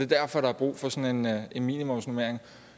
derfor der er brug for sådan en minimumsnormering